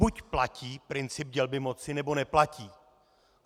Buď platí princip dělby moci, nebo neplatí.